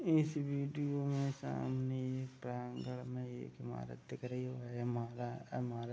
इस वीडियो में सामने एक एक ईमारत दिख रही है ये महंगा है ईमारत |